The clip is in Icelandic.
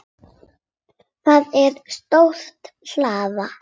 Það er stór hlaða.